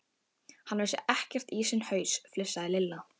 Hann vissi ekkert í sinn haus, flissaði Lilla.